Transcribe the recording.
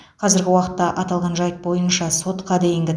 қазіргі уақытта аталған жайт бойынша сотқа дейінгі